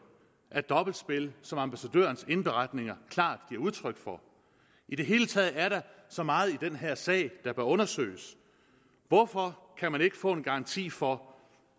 af dobbeltspil som ambassadørens indberetninger klart giver udtryk for i det hele taget er der så meget i den her sag der bør undersøges hvorfor kan man ikke få en garanti for